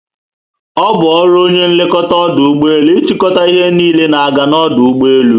Obu ọrụ onye nlekọta ọdụ ụgbọelu ichiko ihe niile na aga na ọdụ ugbọelu